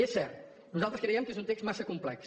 és cert nosaltres creiem que és un text massa complex